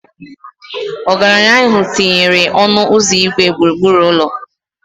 Ọgaranya ahụ tinyere ọnụ ụzọ igwe gburugburu ụlọ.